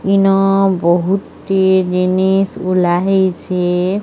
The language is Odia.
ଇନ ବହୁତ ହି ଜିନିଷ ଝୁଲା ହେଇଛି।